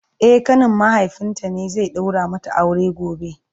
e ƙanin mahaifinta ne zai daura mata aure